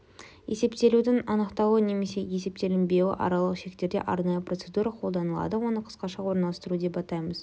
есептелудін анықталуы немесе есептелінбеуі аралық шектерде арнайы процедура қолданылады оны қысқаша орналастыру деп атаймыз